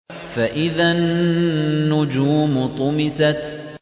فَإِذَا النُّجُومُ طُمِسَتْ